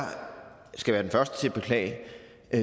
skal være den første til at beklage